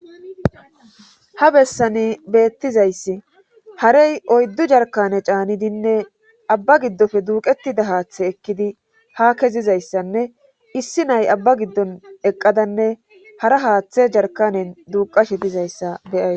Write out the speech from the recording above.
ha bessani beettizayssi harey oyddu jarkane caanidinne abba giddofe duuqetida haaththe ekkidi ha kezizayssanne issi nay abba giddon eqqadanne hara haaththe jarkanen duuqashe tizayssa be,ys